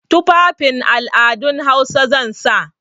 Tufafin al'adun Hausa zan sa.